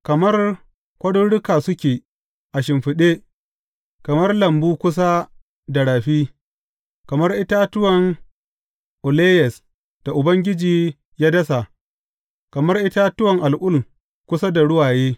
Kamar kwaruruka suke a shimfiɗe, kamar lambu kusa da rafi, kamar itatuwan aloyes da Ubangiji ya dasa, kamar itatuwa al’ul kusa da ruwaye.